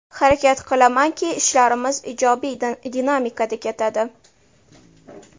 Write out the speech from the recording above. Harakat qilamanki, ishlarimiz ijobiy dinamikada ketadi.